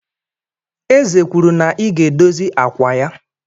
Eze kwuru na i ga-edozi akwa ya!